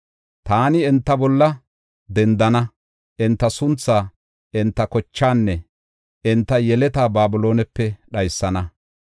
Taani “Enta bolla dendana; enta sunthaa, enta kochaanne enta yeletaa Babiloonepe dhaysana.